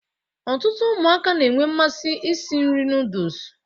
Ọtụtụ ụmụaka na-enwe mmasị iri nri nooduls